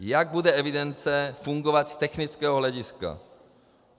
Jak bude evidence fungovat z technického hlediska?